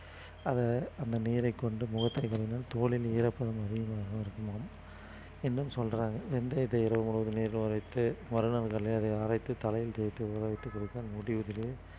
அத அந்த நீரைக் கொண்டு முகத்தை தோலில் ஈரப்பதம் அதிகமாகவும் இருக்குமாம் இன்னும் சொல்றாங்க வெந்தயத்தை இரவு முழுவதும் நீரில் ஊறவைத்து மறுநாள் அரைத்து தலையில் தேய்த்து ஊற வைத்துக் குளித்தால் முடி உதிர்வு